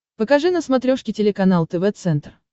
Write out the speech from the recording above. покажи на смотрешке телеканал тв центр